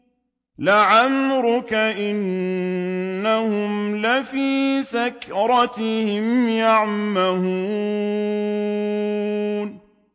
لَعَمْرُكَ إِنَّهُمْ لَفِي سَكْرَتِهِمْ يَعْمَهُونَ